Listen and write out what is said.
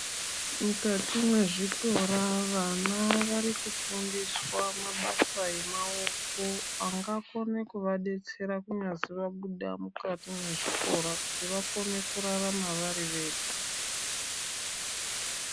Mukati mwezvikora vana vari kufundiswa mabasa emaoko ,angakone kuvadetsera kunyazi vabuda mukati mwezvikora kuti vakone kurarama vari vega .